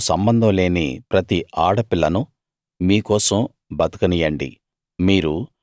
మగవారితో సంబంధం లేని ప్రతి ఆడపిల్లను మీ కోసం బతకనీయండి